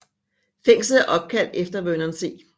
Fængslet er opkaldt efter Vernon C